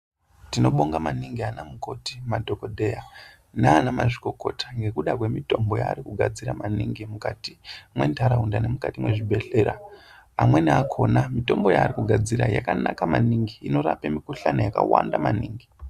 Tinobonga maningi ana mukoti madhokodheya nana mazvikokota ngekuti ngekuda kwemitombo yaarikugadzira maningi mukati mendaraunda muno mukati mezvibhehleya amweni akona mitombo yari kugadzira yakanaka maningi inorapa mikohlani yakwanda maningi.